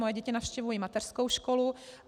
Moje děti navštěvují mateřskou školu.